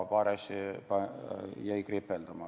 Paar asja jäi kripeldama.